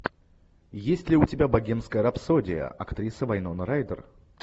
есть ли у тебя богемская рапсодия актриса вайнона райдер